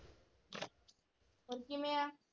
ਹੋਰ ਕਿਵੇਂ ਆ?